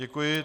Děkuji.